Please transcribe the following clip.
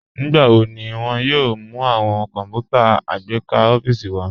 Nígbàwọ̀ ní wọn yóò mú awọn kọnpútà àgbékà ọfiísì wa?